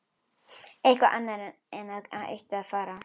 Eitthvað annað en að ég ætti að fara.